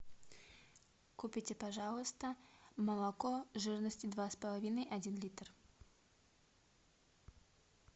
купите пожалуйста молоко жирностью два с половиной один литр